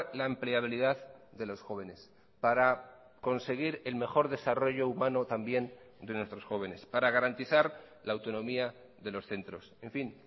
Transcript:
la empleabilidad de los jóvenes para conseguir el mejor desarrollo humano también de nuestros jóvenes para garantizar la autonomía de los centros en fin